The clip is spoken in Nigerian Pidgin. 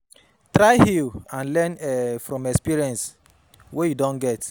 Try heal and Learn um from experience wey you don get